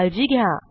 काळजी घ्या